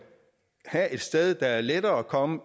have et sted det er lettere at komme